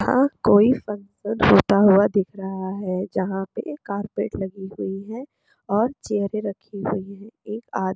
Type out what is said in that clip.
यहाँ कोई फंक्शन होता हुआ दिख रहा है जहां पे कारपेट लगी हुई है और चेयरे रखी हुई है एक आ--